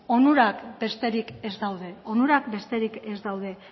onurak besterik ez daude onurak besterik ez daude